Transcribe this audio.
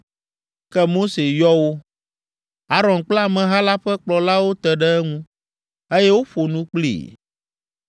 Ke Mose yɔ wo. Aron kple ameha la ƒe kplɔlawo te ɖe eŋu, eye woƒo nu kplii.